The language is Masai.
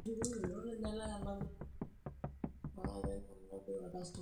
inkarikok olturrur naapuo aabol ina benki eitumiai ina pin ekra tenebo oina cheti